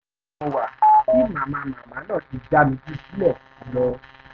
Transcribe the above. ọmọọ̀dún méjì péré ni mo wà tí màmá màmá náà ti já mi jù sílẹ̀ lọ